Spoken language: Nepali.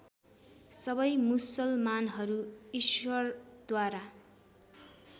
सबै मुसलमानहरू ईश्वरद्वारा